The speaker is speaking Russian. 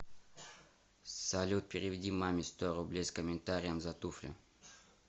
салют переведи маме сто рублей с комментарием за туфли